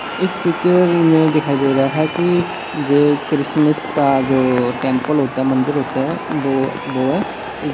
इस पिच्चर में दिखाई दे रहा है कि जे क्रिसमिस का जो टेम्पल होता है मंदिर होता है वो वो है। इज--